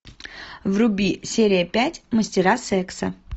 вруби серия пять мастера секса